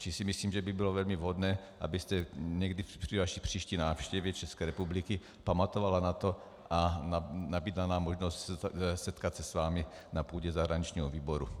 Čili si myslím, že by bylo velmi vhodné, abyste někdy při své příští návštěvě České republiky pamatovala na to a nabídla nám možnost setkat se s vámi na půdě zahraničního výboru.